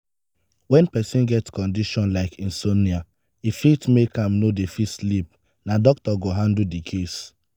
to to fit sleep well some pipo dey use ear buds so dat noise no go wake dem up